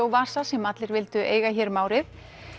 vasa sem allir vildu eiga hér um árið